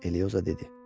Eliyosa dedi.